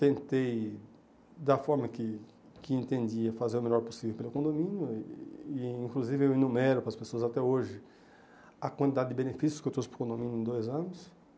Tentei da forma que que entendia fazer o melhor possível pelo condomínio e inclusive eu enumero para as pessoas até hoje a quantidade de benefícios que eu trouxe para o condomínio em dois anos.